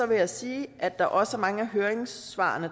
vil jeg sige at der også er mange af høringssvarene